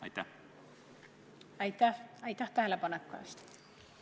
Aitäh tähelepaneku eest!